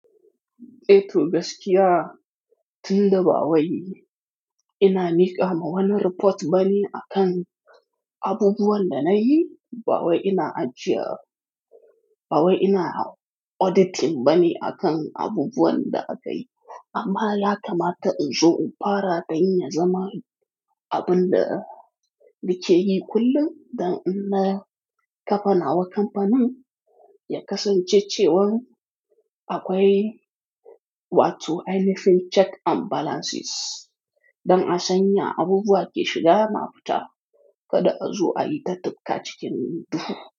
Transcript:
Eh to gaskiya tunda ba wai ina miƙa ma wani report bane akan abubuwan da nayi, ba wai ina ajiye, ba wai ina auditing bane akan abubuwan da aka yi, amma ya kamata inzo infara dan ya zama abun da nike yi kullum don inna kafa nawa kamfanin ya kasance cewan akwai what do I mean check and balances don a sanya abubuwa ke shiga na fita kada a zo a yi ta tufka cikin duhu.